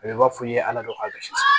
A bɛ i b'a fɔ i ye ala dɔ k'a la